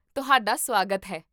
ਤੁਹਾਡਾ ਸੁਆਗਤ ਹੈ